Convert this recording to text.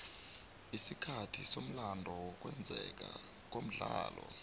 isikhathi somlando wokwenzeka komdlalo